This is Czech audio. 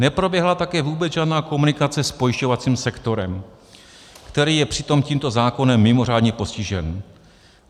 Neproběhla také vůbec žádná komunikace s pojišťovacím sektorem, který je přitom tímto zákonem mimořádně postižen.